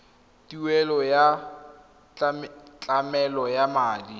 tuelo ya tlamelo ya madi